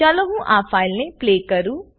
ચાલો હું આ ફાઈલને પલ્લે કરું